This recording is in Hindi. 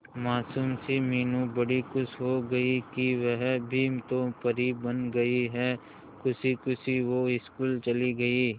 मासूम सी मीनू बड़ी खुश हो गई कि वह भी तो परी बन गई है खुशी खुशी वो स्कूल चली गई